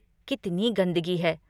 कितनी गंदगी है।